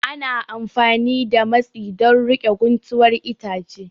Ana amfani da matsi don riƙe guntuwar itace